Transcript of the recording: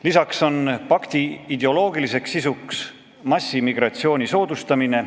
Lisaks on pakti ideoloogiliseks sisuks massimigratsiooni soodustamine.